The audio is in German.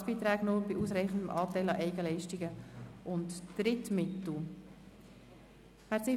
Staatsbeiträ e nur bei ausreichendem Anteil an Eigenleistungen und Drittmitteln».